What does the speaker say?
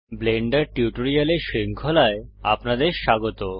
Blender টিউটোরিয়ালের শৃঙ্খলায় আপনাদের স্বাগত